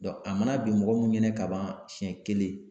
a ma na bin mɔgɔ mun ɲɛna ka ban siɲɛ kelen